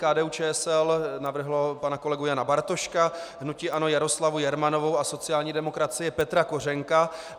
KDU-ČSL navrhla pana kolegu Jana Bartoška, hnutí ANO Jaroslavu Jermanovou a sociální demokracie Petra Kořenka.